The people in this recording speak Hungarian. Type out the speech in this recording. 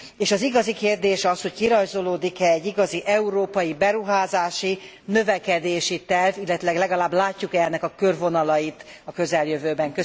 És az igazi kérdés az, hogy kirajzolódik e egy európai beruházási, növekedési terv, illetőleg legalább látjuk e ennek a körvonalait a közeljövőben.